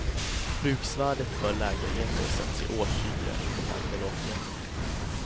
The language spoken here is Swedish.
Bruksvärdet för lägenheter sätts i årshyra, inte per kvadratmeter.